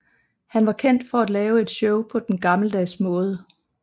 Han var kendt for at lave et show på den gammeldags måde